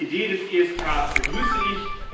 Die Idee des ESK begrüße ich